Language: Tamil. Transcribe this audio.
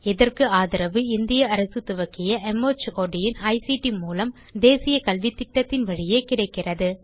இதற்கு ஆதரவு இந்திய அரசு துவக்கிய மார்ட் இன் ஐசிடி மூலம் தேசிய கல்வித்திட்டத்தின் வழியே கிடைக்கிறது